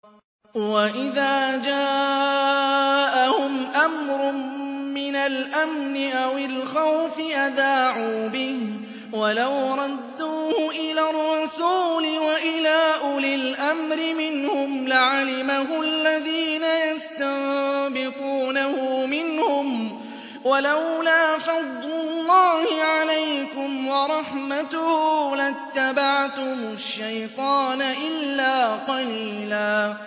وَإِذَا جَاءَهُمْ أَمْرٌ مِّنَ الْأَمْنِ أَوِ الْخَوْفِ أَذَاعُوا بِهِ ۖ وَلَوْ رَدُّوهُ إِلَى الرَّسُولِ وَإِلَىٰ أُولِي الْأَمْرِ مِنْهُمْ لَعَلِمَهُ الَّذِينَ يَسْتَنبِطُونَهُ مِنْهُمْ ۗ وَلَوْلَا فَضْلُ اللَّهِ عَلَيْكُمْ وَرَحْمَتُهُ لَاتَّبَعْتُمُ الشَّيْطَانَ إِلَّا قَلِيلًا